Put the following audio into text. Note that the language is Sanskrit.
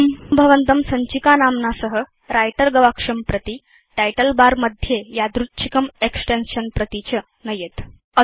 इदं भवन्तं सञ्चिकानाम्ना सह व्रिटर गवाक्षं प्रति टाइटल बर मध्ये यादृच्छिकं एक्सटेन्शन् प्रति च नयेत्